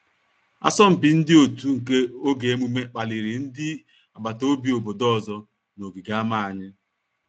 Asọmpi ndị otu nke oge emume kpaliri ndị abata obi obodo ọzọ na ogigi ama anyị